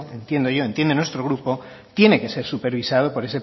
entiendo yo entiende nuestro grupo tiene que ser supervisado por